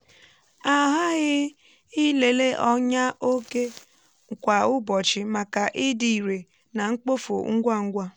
a ghaghị um ịlele ọnyà òké kwa ụbọchị maka ịdị irè na mkpofu ngwa ngwa.